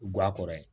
Guwan kɔrɔ ye